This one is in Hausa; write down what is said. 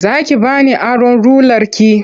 Za ki ba ni aron rularki?